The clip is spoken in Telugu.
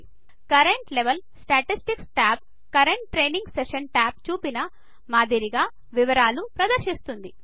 current level statistics tab current training session tab లో చూపిన మాదిరిగా వివరాలు ప్రదర్శిస్తుంది